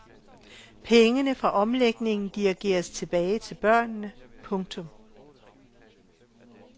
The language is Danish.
Pengene fra omlægningen dirigeres tilbage til børnene. punktum